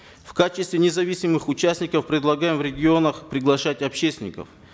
в качестве независимых участников предлагаем в регионах приглашать общественников